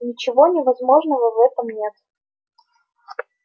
ничего невозможного в этом нет